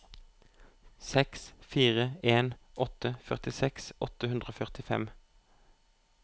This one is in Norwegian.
seks fire en åtte førtiseks åtte hundre og førtifem